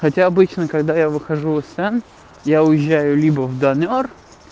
хотя обычно когда я выхожу сын я уезжаю либо в данар